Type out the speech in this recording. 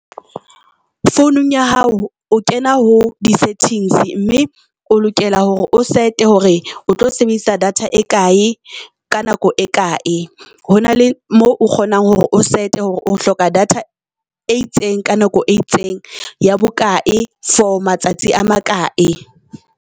Founung ya hao o kena ho di settings mme o lokela hore o set-e hore o tlo sebedisa data e kae ka nako e kae. Hona le mo o kgonang hore o set-e hore o hloka data e itseng ka nako e itseng ya bokae for matsatsi a makae.